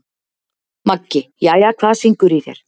Maggi: Jæja, hvað syngur í þér?